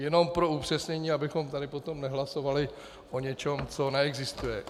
Jenom pro upřesnění, abychom tady potom nehlasovali o něčem, co neexistuje.